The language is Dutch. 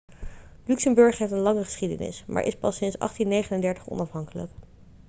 luxemburg heeft een lange geschiedenis maar is pas sinds 1839 onafhankelijk